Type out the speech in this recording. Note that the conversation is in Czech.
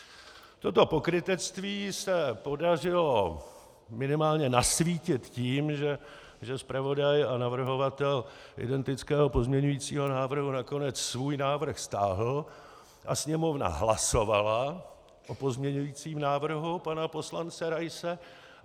Toto pokrytectví se podařilo minimálně nasvítit tím, že zpravodaj a navrhovatel identického pozměňujícího návrhu nakonec svůj návrh stáhl a Sněmovna hlasovala o pozměňujícím návrhu pana poslance Raise.